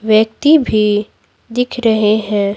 व्यक्ति भी दिख रहे हैं।